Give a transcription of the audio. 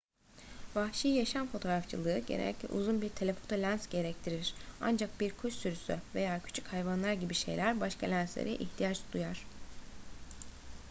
vahşi yaşam fotoğrafçılığı genellikle uzun bir telefoto lens gerektirir ancak bir kuş sürüsü veya küçük hayvanlar gibi şeyler başka lenslere ihtiyaç duyar